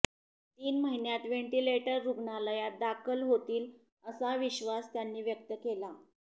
तीन महिन्यात व्हेंटिलेटर रुग्णालयात दाखल होतील असा विश्वास त्यांनी व्यक्त केला